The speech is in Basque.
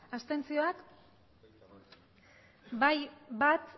abstentzioak bai bat